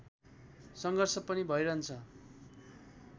सङ्घर्ष पनि भइहन्छ